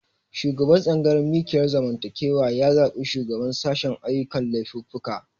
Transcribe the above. Shugaban tsangayar mikiyar zamantakewa ya zabi shugaban sashen ayyukan laifuffuka